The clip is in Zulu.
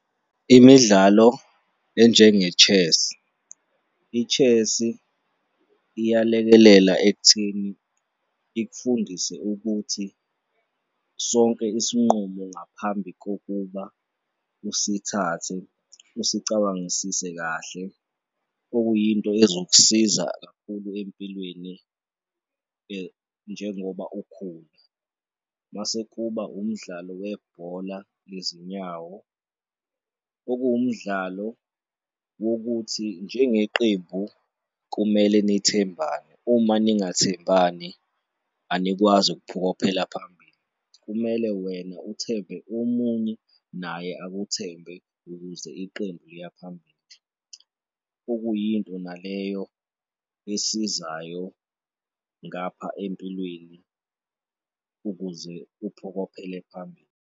Imidlalo enjenge-chess. I-chess iyalekelela ekutheni ikufundise ukuthi sonke isinqumo ngaphambi kokuba usithathe usecabangisise kahle, okuyinto ezokusiza kakhulu empilweni njengoba ukhula mase kuba umdlalo webhola lezinyawo, okuwumdlalo wokuthi njengeqembu kumele nithembane. Uma ningathembani anikwazi ukuphokophela phambili. Kumele wena uthembe omunye naye akuthembe ukuze iqembu liya phambili, okuyinto naleyo esizayo ngapha empilweni ukuze uphokophele phambili.